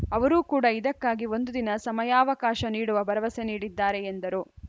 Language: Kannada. ಅವರು ಕೂಡ ಇದಕ್ಕಾಗಿ ಒಂದು ದಿನ ಸಮಯಾವಕಾಶ ನೀಡುವ ಭರವಸೆ ನೀಡಿದ್ದಾರೆ ಎಂದರು